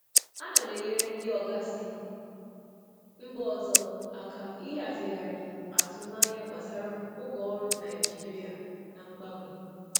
um Ana m enyere ndị oga si mba ọzọ aka ịhazigharị atụmanya gbasara oge ọrụ um Naịjirịa na mgbanwe.